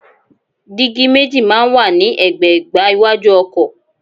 Dígí méjì máa ń wà ní ẹ̀gbẹ̀ẹ̀gbá iwájú ọkọ̀.